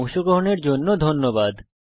অংশগ্রহনের জন্য ধন্যবাদ